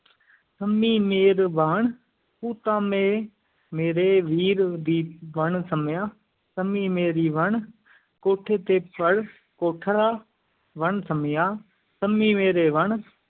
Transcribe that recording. ਸੰਮੀ ਮੇਰੀ ਵਣ ਕੂ ਤਾਂ ਮੇ ਮੇਰੇ ਵੀਰ ਦੀ, ਵਣ ਸੰਮੀਆਂ ਸੰਮੀ ਮੇਰੀ ਵਣ ਕੋਠੇ ਤੇ ਪਰ ਕੋਠੜਾ, ਵਣ ਸੰਮੀਆਂ ਸੰਮੀ ਮੇਰੀ ਵਣ